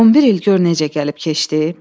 11 il gör necə gəlib keçdi.